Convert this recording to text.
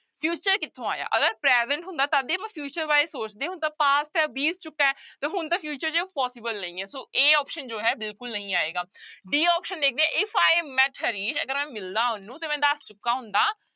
Future ਕਿੱਥੋਂ ਆਇਆ ਅਗਰ present ਹੁੰਦਾ ਤਦ ਹੀ ਆਪਾਂ future ਬਾਰੇ ਸੋਚਦੇ ਹੁਣ ਤਾਂ past ਹੈ ਬੀਤ ਚੁੱਕਾ ਹੈ ਤੇ ਹੁਣ ਤਾਂ future ਚ possible ਨਹੀਂ ਹੈ ਸੋ a option ਜੋ ਹੈ ਬਿਲਕੁਲ ਨਹੀਂ ਆਏਗਾ b option ਦੇਖਦੇ ਹਾਂ if i met ਹਰੀਸ ਅਗਰ ਮੈਂ ਮਿਲਦਾ ਉਹਨਾਂ ਤੇ ਮੈਂ ਦੱਸ ਚੁੱਕਾ ਹੁੰਦਾ।